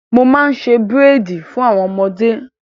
Mo máa ń ṣe búréèdì fún àwọn ọmọdé.